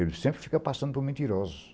Ele sempre fica passando por mentirosos.